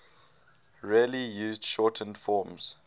rarely used shortened forms